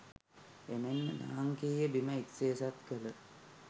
එමෙන්ම ලාංකේය බිම එක්සේසත් කළ